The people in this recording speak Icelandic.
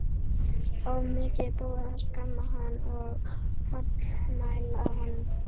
Og mikið er búið að skamma hann og hallmæla honum.